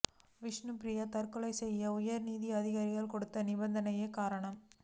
விஷ்ணுப்பிரியா தற்கொலை செய்ய உயர் அதிகாரிகள் கொடுத்த நிர்ப்பந்தமே காரணம்